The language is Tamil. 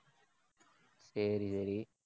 சரி சரி